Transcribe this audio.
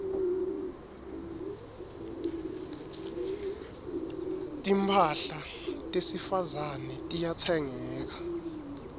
timphahla tesifazane tiyatsengeka